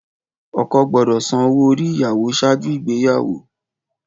Ọkọ gbọdọ san owo ori iyawo ṣaaju igbeyawo.